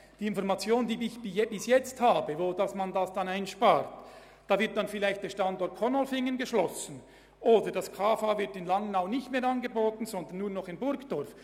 Gemäss den Informationen über mögliche Einsparungen, über die ich jetzt verfüge, würde dann vielleicht der Standort Konolfingen geschlossen, oder die kaufmännische Lehre würde nur noch in Burgdorf und nicht mehr in Langnau angeboten.